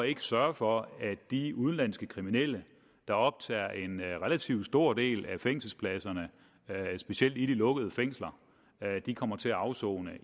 ikke sørge for at de udenlandske kriminelle der optager en relativt stor del af fængselspladserne specielt i de lukkede fængsler kommer til at afsone